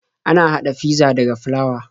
Ana haɗa fizza daga flawa.